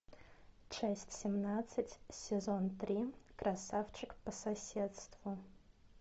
часть семнадцать сезон три красавчик по соседству